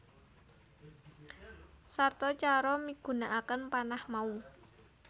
Sarta cara migunakaken panah mau